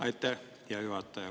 Aitäh, hea juhataja!